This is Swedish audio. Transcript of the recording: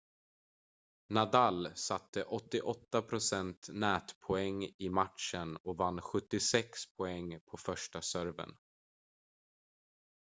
nadal satte 88 % nätpoäng i matchen och vann 76 poäng på första serven